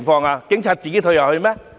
是警察自行退後嗎？